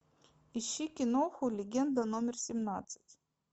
ищи киноху легенда номер семнадцать